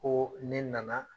Ko ne nana